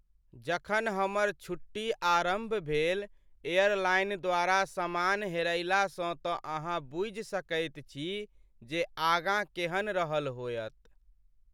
जखन हमर छुट्टी आरम्भ भेल एयरलाइन द्वारा समान हेरयलासँ तँ अहाँ बूझि सकैत छी जे आगाँ केहन रहल होयत।